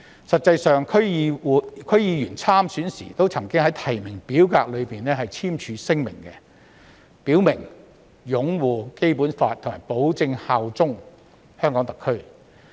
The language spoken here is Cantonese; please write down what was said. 實際上，區議員參選時均曾在提名表格內簽署聲明，表明擁護《基本法》及保證效忠特區。